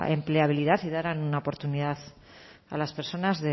empleabilidad y dar una oportunidad a las personas